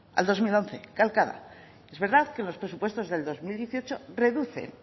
al dos mil once es verdad que los presupuestos del dos mil dieciocho reducen